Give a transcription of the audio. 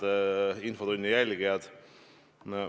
Head infotunni jälgijad!